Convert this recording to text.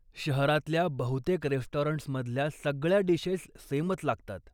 शहरातल्या बहुतेक रेस्टॉरंट्स्मधल्या सगळ्या डिशेस सेमच लागतात.